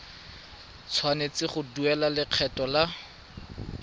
tshwanetse go duela lekgetho la